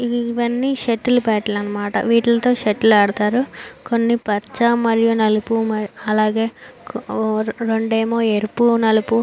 ఇవ్వన్నీ shuttle bat లు అన్నమాట వీటిల్తో షటిల్ ఆడుతారు కొన్ని పచ్చ మరియు నలుపు మరియు అలాగే రెండేమో ఎరుపు నలుపు --